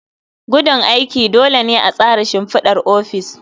Gudun aiki. Dole ne a tsara shimfidar ofis.